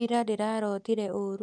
Ira ndĩrarotire ũũru